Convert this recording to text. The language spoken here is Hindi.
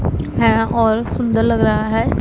है और सुंदर लग रहा है।